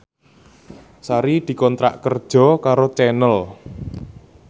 Sari dikontrak kerja karo Channel